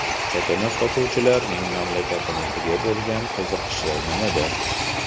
Chakana sotuvchilarning mamlakatimizga bo‘lgan qiziqishi nimada?